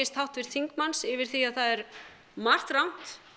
háttvirts þingmanns yfir því að það er margt rangt